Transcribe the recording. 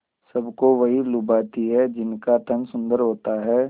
सबको वही लुभाते हैं जिनका तन सुंदर होता है